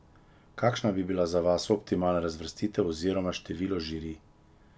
Kakšna bi bila za vas optimalna razvrstitev oziroma število žirij?